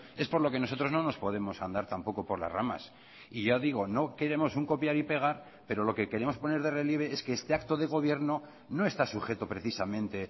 es por lo que nosotros no nos podemos andar tampoco por las ramas y ya digo no queremos un copiar y pegar pero lo que queremos poner de relieve es que este acto de gobierno no está sujeto precisamente